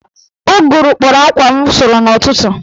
Ụgụrụ kpọrọ akwa m sụrụ n'ụtụtụ